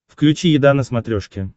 включи еда на смотрешке